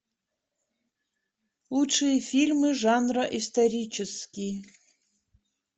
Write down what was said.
лучшие фильмы жанра исторический